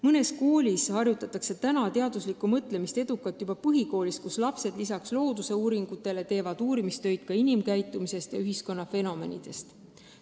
Mõnes koolis harjutatakse teaduslikku mõtlemist edukalt juba põhikoolis, kus lapsed lisaks looduse uurimisele teevad uurimistöid ka inimkäitumisest ja ühiskonna fenomenidest.